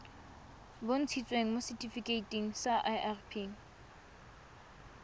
bontshitsweng mo setifikeiting sa irp